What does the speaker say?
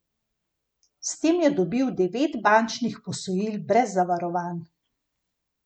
S tem je dobil devet bančnih posojil brez zavarovanj.